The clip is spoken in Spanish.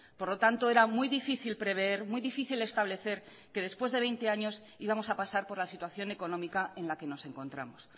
por lo tanto era muy difícil prever muy difícil establecer que después de veinte años íbamos a pasar por la situación económica en la que nos encontramos